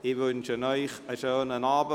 Ich wünsche Ihnen einen schönen Abend.